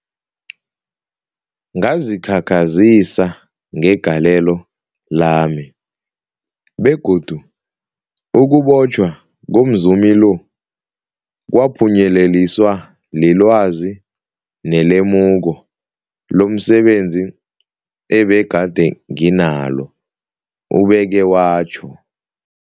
Ngazikhakhazisa ngegalelo lami, begodu ukubotjhwa komzumi lo kwaphunyeleliswa lilwazi nelemuko lomse benzi ebegade nginalo, ubeke watjho.